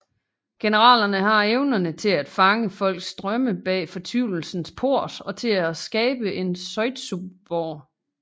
Generalerne har evnerne til at fange folks drømme bag fortvivlelsens port og til at skabe en zetsuborg